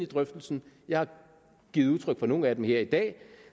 drøftelsen jeg har givet udtryk for nogle af dem her i dag